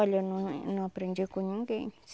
Olha num num aprendi com ninguém.